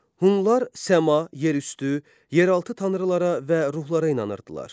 Hunlar səma, yerüstü, yeraltı tanrılara və ruhlara inanırdılar.